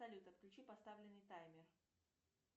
салют отключи поставленный таймер